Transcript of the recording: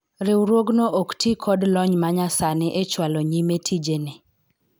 riwruogno ok tii kod lony ma nya sani e chwalo nyime tije ne